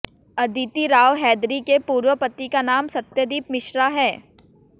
अदिति राव हैदरी के पूर्व पति का नाम सत्यदीप मिश्रा है